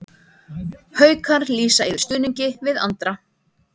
Haukar lýsa yfir stuðningi við Andra